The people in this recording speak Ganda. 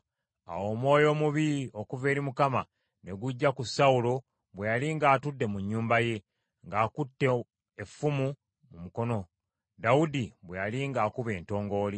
Awo omwoyo omubi okuva eri Mukama ne gujja ku Sawulo bwe yali ng’atudde mu nnyumba ye, ng’akutte effumu mu mukono, Dawudi bwe yali ng’akuba entongooli.